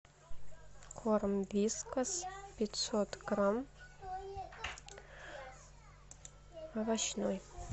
корм вискас пятьсот грамм овощной